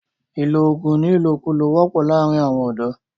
ìlọ oògùn ní ìlòkulò wọ́pọ̀ láàrín àwọn ọ̀dọ̀.